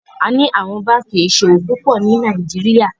A ní àwon bánkì iṣowo púpọ ní Nàìjíríà.